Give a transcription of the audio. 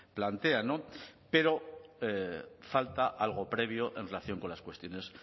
plantean pero falta algo previo en relación con las cuestiones